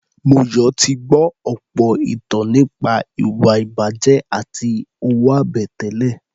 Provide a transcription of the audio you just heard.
Moyọ̀ ti gbọ́ àwọn ìtàn nípa ìwà-ìbàjẹ́ àti owó-àbẹ̀tẹ́lẹ̀.